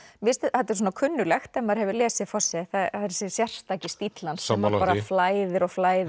þetta er kunnuglegt ef maður hefur lesið Fosse það er þessi sérstaki stíll hans sammála því bara flæðir og flæðir